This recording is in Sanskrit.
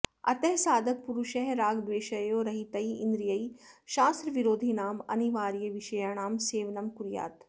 अतः साधकपुरुषः रागद्वेषयोः रहितैः इन्द्रियैः शास्त्राविरोधिनाम् अनिवार्यविषयाणां सेवनं कुर्यात्